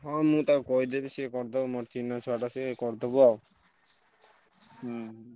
ହଁ ମୁଁ ତାକୁ କହିଦେବି ସିଏ କରିଦବ ମୋର ଚିହ୍ନା ଛୁଆଟେ ସିଏ କରିଦବ ଆଉ। ହୁଁ।